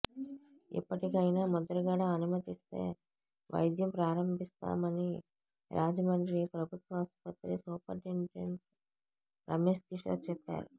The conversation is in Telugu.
ఇప్పటికైనా ముద్రగడ అనుమతిస్తే వైద్యం ప్రారంభిస్తామని రాజమండ్రి ప్రభుత్వాసుపత్రి సూపరింటెండెంట్ రమేశ్ కిషోర్ చెప్పారు